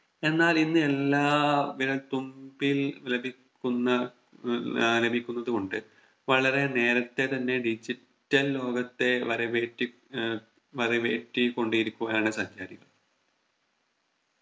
എന്നാൽ ഇന്ന് എല്ലാം വിരൽ തുമ്പിൽ ലഭിക്കുന്ന ഏർ ലഭിക്കുന്നത് കൊണ്ട് വളരെ നേരത്തെ തന്നെ Digital ലോകത്തെ വരവേറ്റി ഏർ വരവേറ്റി കൊണ്ടിരിക്കുകയാണ് സഞ്ചാരികൾ